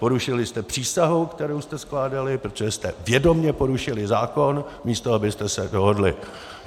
Porušili jste přísahu, kterou jste skládali, protože jste vědomě porušili zákon, místo abyste se dohodli!